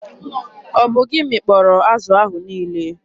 Ọ bụ gị mịkpọrọ azụ ahụ niile?